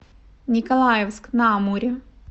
николаевск на амуре